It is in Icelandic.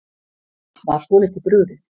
Var svolítið brugðið